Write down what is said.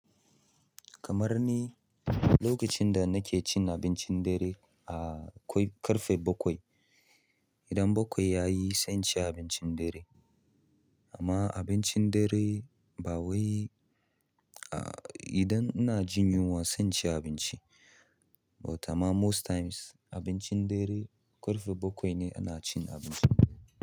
Kamar ni lokacin da nake cin abincin dare, a kwai ƙarfe bakwai. Idan bakwai yayi, sai ci abincin dare. Amma abincin dare ba wai, a idan ina jin yunwa sai ci abinci. But amma most times abincin dare ƙarfe bakwai ne ina cin abinci.